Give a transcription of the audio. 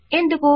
ఎందుకు